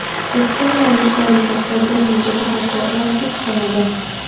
vaksina olish zarurati bir necha jihatlar bilan ta’kidlanadi.